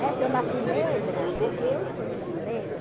Né? Se eu nasci negra, é porque eu escolhi nascer negra.